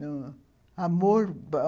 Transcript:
Não. Amor